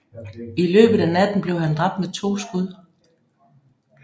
I løbet af natten blev han dræbt med to skud